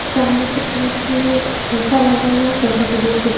सामने की तरफ में एक सोफा लगा हुआ है सोफा पे दो--